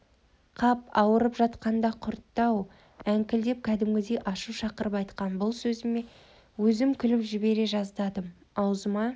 қап ауырып жатқанда құртты-ау әңкілдеп кәдімгідей ашу шақырып айтқан бұл сөзіме өзім күліп жібере жаздадым аузыма